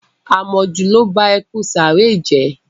Àmọ̀jù ló ba ẹkùn sàáré jẹ́.